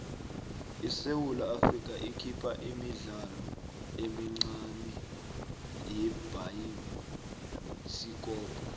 isewula afrika ikhipha imidlalo emincane yebhayisikopo